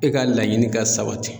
E ka laɲini ka sabati